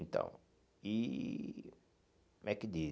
Então, e... Como é que diz?